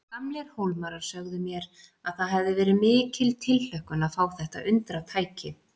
Gamlir Hólmarar sögðu mér að það hefði verið mikil tilhlökkun að fá þetta undratæki.